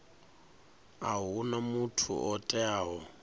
a huna muthu o teaho